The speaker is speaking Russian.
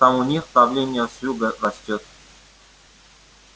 там у них давление с юга растёт